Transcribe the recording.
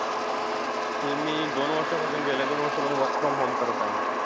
ते मी दोन वर्षांपासून केलंय, दोन वर्षांपासून work from home करत आहे.